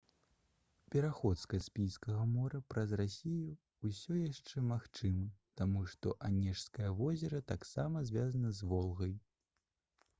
пераход з каспійскага мора праз расію ўсё яшчэ магчымы таму што анежскае возера таксама звязана з волгай